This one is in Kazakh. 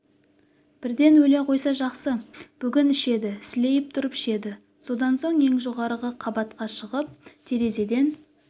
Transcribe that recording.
бірден өле қойса жақсы бүгін ішеді сілейіп тұрып ішеді содан соң ең жоғарғы қабатқа шығып терезеден